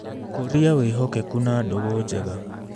Kũria wĩhokeku na ndũgũ njega.